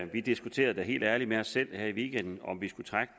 vi diskuterede da helt ærligt med os selv her i weekenden om vi skulle trække